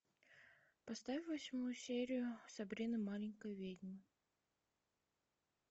поставь восьмую серию сабрина маленькая ведьма